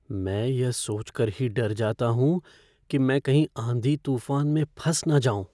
मैं यह सोच कर ही डर जाता हूँ कि मैं कहीं आंधी तूफ़ान में फँस न जाऊँ।